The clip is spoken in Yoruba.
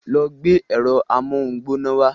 Lọ gbé ẹ̀rọ amóhungbóná wa.